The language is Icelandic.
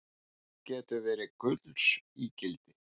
Þögn getur verið gulls ígildi